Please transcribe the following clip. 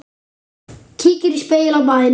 Kíkir í spegil á baðinu.